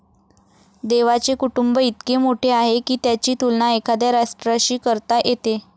देवाचे कुटुंब इतके मोठे आहे की त्याची तुलना एखाद्या राष्ट्राशी करता येते.